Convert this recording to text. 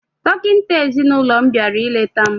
Dọkịta ezinaụlọ m bịara ileta m